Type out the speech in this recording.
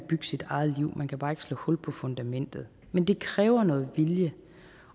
bygge sit eget liv men man kan bare ikke slå hul på fundamentet men det kræver noget vilje